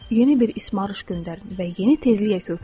Yeni bir ismarış göndərin və yeni tezliyə köklənin.